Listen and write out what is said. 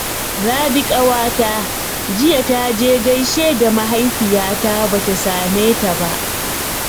Rabi ƙawata jiya ta je gaishe da mahaifiyata ba ta same ta ba